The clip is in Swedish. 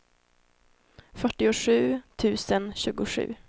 fyrtiosju tusen tjugosju